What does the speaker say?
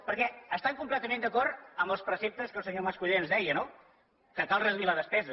perquè estan completament d’acord amb els preceptes que el senyor mas colell ens deia no que cal reduir la despesa